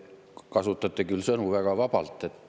Te kasutate küll sõnu väga vabalt.